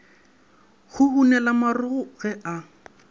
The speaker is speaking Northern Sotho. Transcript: go hunela marokgo ge a